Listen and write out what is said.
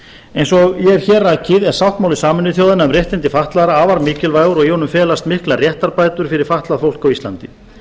eins og ég hef hér rakið er sáttmáli sameinuðu þjóðanna um réttindi fatlaðra afar mikilvægur og í honum felast miklar réttarbætur fyrir fatlað fólk á íslandi